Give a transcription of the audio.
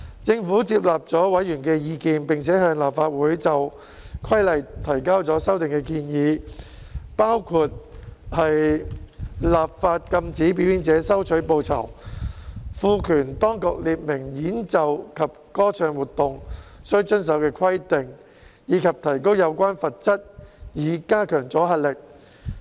政府接納了委員的意見，並且向立法會就《規例》提交了修訂建議，包括立法禁止表演者收取報酬，賦權當局列明演奏及歌唱活動須遵守的規定，以及提高有關罰則以加強阻嚇力。